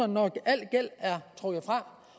når al gæld er trukket fra